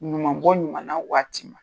Ɲumanbɔ ɲumanna waati